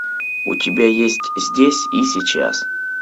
у тебя есть здесь и сейчас